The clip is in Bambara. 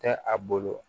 Tɛ a bolo